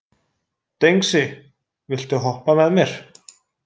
Dengsi, viltu hoppa með mér?